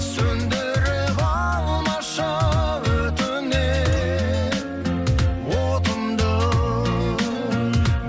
сөндіріп алмашы өтінем отымды